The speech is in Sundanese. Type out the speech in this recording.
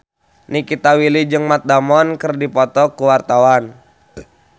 Nikita Willy jeung Matt Damon keur dipoto ku wartawan